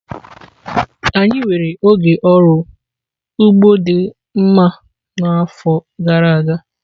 Anyị nwere oge ọrụ ugbo dị mma n'afọ gara aga.